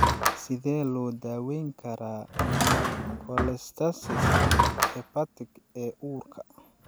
Sidee loo daweyn karaa cholestasis-ka hepatic ee uurka?